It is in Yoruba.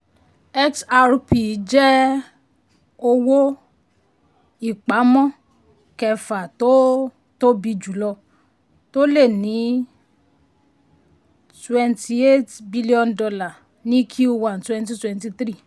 xrp jẹ́ owó-ìpamọ́ kẹfà tó tóbi jùlọ tó lé ní $ twenty eight b ní q one twenty twenty three.